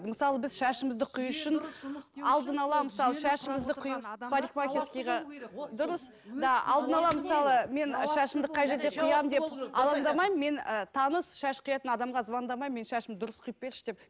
мысалы біз шашымызды қию үшін дұрыс мен ы таныс шаш қиятын адамға звондамаймын менің шашымды дұрыс қиып берші деп